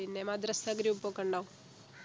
പിന്നെ മദ്രസ group ഒക്കെ ഉണ്ടോ